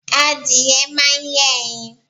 Adìyẹ máà ń yé ẹyin